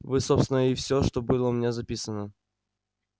вот собственно и все что было у меня записано